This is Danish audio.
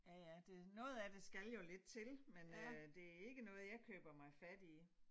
Ja ja det noget af det skal jo lidt til men øh det ikke noget jeg køber mig fat i